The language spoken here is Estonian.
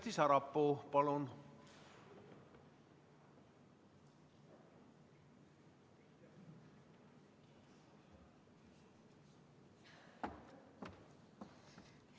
Kersti Sarapuu, palun!